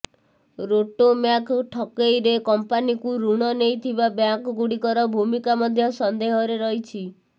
ରୋଟୋମ୍ୟାକ୍ ଠକେଇରେ କଂପାନିକୁ ଋଣ ନେଇଥିବା ବ୍ୟାଙ୍କଗୁଡ଼ିକର ଭୂମିକା ମଧ୍ୟ ସନ୍ଦେହରେ ରହିଛି